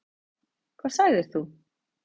Hvað sagðir þú?